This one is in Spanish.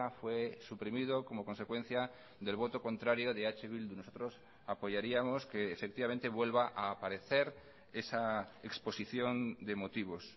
fue suprimido como consecuencia del voto contrario de eh bildu nosotros apoyaríamos que efectivamente vuelva a aparecer esa exposición de motivos